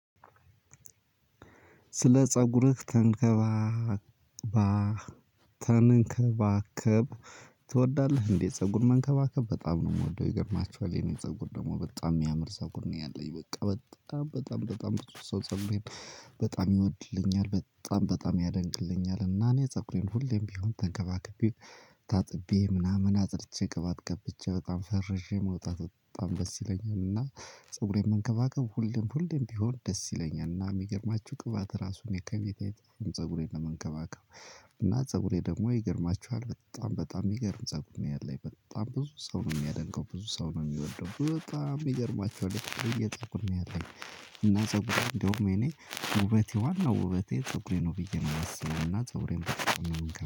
ስለ ጸጉርህ ተንከባባተንከባከብ ትወዳለህ እንዴ? ፀጉር መንከባከብ በጣም ነው ምወደው ይገርማችኋል የኔ ፀጉር ደግሞ በጣም ሚያምረው ፀጉር ነው ያለኝ። በቃ በጣም በጣም በጣም ብዙ ሰው ፀጉሬን በጣም ይወድልኛል በጣም በጣም ያደንቅልኛል። እና እኔ ፀጉሬን ሁሌም ቢሆን ተንከባከብቤ ታጥቤ ምናምን አጥርቼ ቅባት ቀብቼ በጣም ፈርዤ መውጣት በጣም ደስ ይለኛል። እና ፀጉሬን መንከባከብ ሁሌም ሁሌም ቢሆን ደስ ይለኛል። እና የሚገርማችሁ ቅባት ራሱን የፊቴ ፀጉሬን እምንከባከብ። እና ፀጉሬ ደግሞ ይገርማችኋል በጣም በጣም የሚገርም ፀጉር ነው ያለኝ በጣም ብዙ ሰው ነው የሚያደንቀው ብዙ ሰው ነው የሚወደው በጣም ይገርማችኋል የተለየ ፀጉር ነው ያለኝ። እና ፀጉሬ እንደውም የኔ ውበቴ ዋና ውበቴ ፀጉሬ ነው ብዬ ነው የማስበው። እና ፀጉሬን በጣም ነው ምንከባ